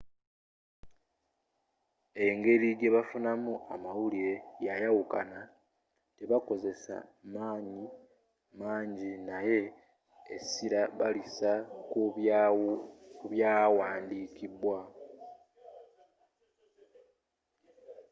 engeri gyebafuna mu amawulire yayawukana tebakozesa manyi mangi naye esira balisa kubyawandiikibwa